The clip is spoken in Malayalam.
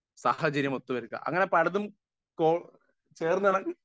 സ്പീക്കർ 1 സാഹചര്യം ഒത്തുവരുക അങ്ങനെ പലതും കോ ചേർന്ന്